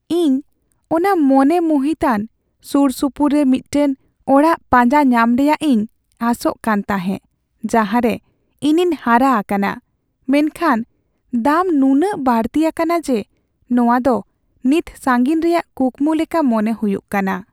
ᱤᱧ ᱚᱱᱟ ᱢᱚᱱᱮ ᱢᱩᱦᱤᱛᱟᱱ ᱥᱩᱨᱥᱩᱯᱩᱨ ᱨᱮ ᱢᱤᱫᱴᱟᱝ ᱚᱲᱟᱜ ᱯᱟᱸᱡᱟ ᱧᱟᱢ ᱨᱮᱭᱟᱜ ᱤᱧ ᱟᱥᱚᱜ ᱠᱟᱱ ᱛᱟᱦᱮᱸ ᱡᱟᱦᱟᱸᱨᱮ ᱤᱧᱤᱧ ᱦᱟᱨᱟ ᱟᱠᱟᱱᱟ, ᱢᱮᱱᱠᱷᱟᱱ ᱫᱟᱢ ᱱᱩᱱᱟᱹᱜ ᱵᱟᱹᱲᱛᱤ ᱟᱠᱟᱱᱟ ᱡᱮ ᱱᱚᱶᱟ ᱫᱚ ᱱᱤᱛ ᱥᱟᱹᱜᱤᱧ ᱨᱮᱭᱟᱜ ᱠᱩᱠᱢᱩ ᱞᱮᱠᱟ ᱢᱚᱱᱮ ᱦᱩᱭᱩᱜ ᱠᱟᱱᱟ ᱾